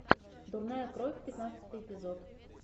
дурная кровь пятнадцатый эпизод